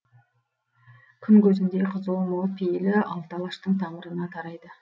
күн көзіндей қызуы мол пейілі алты алаштың тамырына тарайды